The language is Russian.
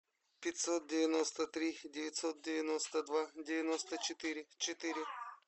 пятьсот девяносто три девятьсот девяносто два девяносто четыре четыре